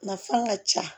Nafan ka ca